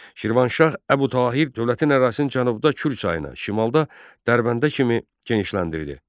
Şirvanşah Əbu Tahir dövlətin ərazisinin cənubda Kür çayına, şimalda Dərbəndə kimi genişləndirdi.